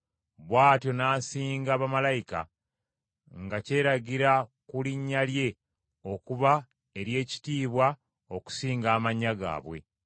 Bw’atyo n’asinga bamalayika, nga kyeragira ku linnya lye okuba ery’ekitiibwa okusinga amannya gaabwe.